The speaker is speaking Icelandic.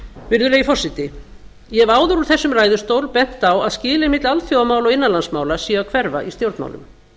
virðulegi forseti ég hef áður úr þessum ræðustól bent á að skilin milli alþjóðamála og innanlandsmála séu að hverfa í stjórnmálum